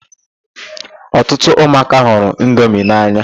Ọtụtụ ụmụaka hụrụ indomi n'anya.